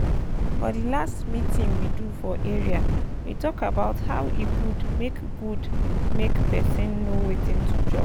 for the last meeting we do for area we talk about hoe e good make good make person know wetin to chop